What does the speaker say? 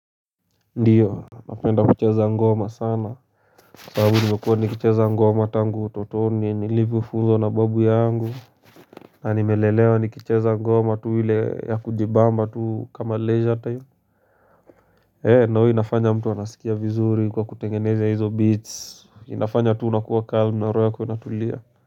Ndiyo napenda kucheza ngoma sana sababu nimekuwa nikicheza ngoma tangu utotoni nilivyofunzwa na babu yangu na nimelelewa nikicheza ngoma tu ile ya kujibamba tu kama leisure time ee ndo inafanya mtu anasikia vizuri kwa kutengeneze hizo beats inafanya tu unakuwa calm na roho yako inatulia.